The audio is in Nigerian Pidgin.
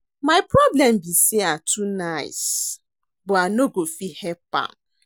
My problem be say I too nice but I no go fit help am